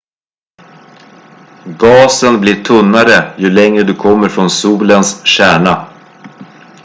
gasen blir tunnare ju längre du kommer från solens kärna